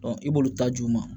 i b'olu ta jo ma